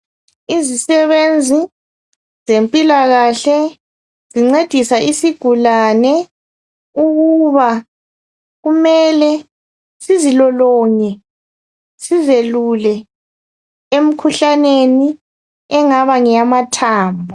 Izisebenzi zempilakahle ezincedisa isigulane ,ukuba kumele sizilolonge ,sizelule emkhuhlaneni engaba ngeyamathambo.